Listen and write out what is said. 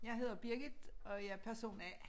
Jeg hedder Birgit og jeg person A